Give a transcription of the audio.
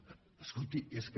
escolti és que